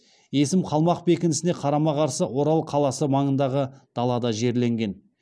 есім қалмақ бекінісіне қарама қарсы орал қаласы маңындағы далада жерленген